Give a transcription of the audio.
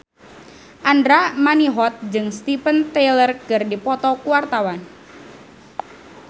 Andra Manihot jeung Steven Tyler keur dipoto ku wartawan